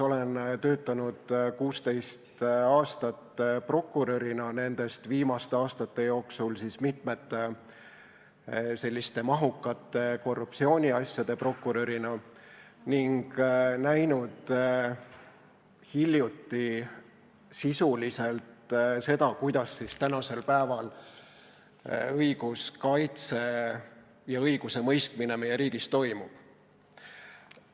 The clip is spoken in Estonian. Olen töötanud 16 aastat prokurörina, nendest viimaste aastate jooksul mitmete mahukate korruptsiooniasjade prokurörina, ning näinud hiljuti sisuliselt seda, kuidas tänapäeval õiguskaitse ja õigusemõistmine meie riigis toimub.